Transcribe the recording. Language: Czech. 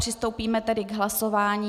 Přistoupíme tedy k hlasování.